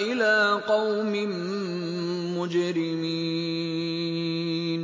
إِلَىٰ قَوْمٍ مُّجْرِمِينَ